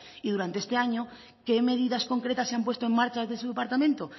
y durante este año qué medidas concretas se han puesto en marcha desde su departamento